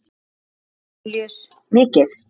Jón Júlíus: Mikið?